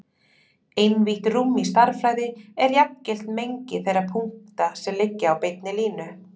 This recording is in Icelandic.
Einvítt rúm í stærðfræði er jafngilt mengi þeirra punkta sem liggja á beinni línu.